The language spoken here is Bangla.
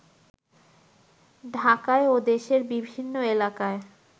ঢাকায় ও দেশের বিভিন্ন এলাকায়